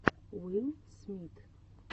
уилл смит